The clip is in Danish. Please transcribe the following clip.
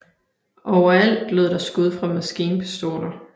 Overalt lød der skud fra maskinpistoler